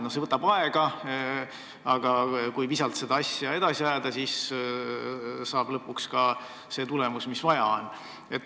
See võtab aega, aga kui visalt edasi tegutseda, siis ehk tuleb lõpuks tulemus, mida vaja on.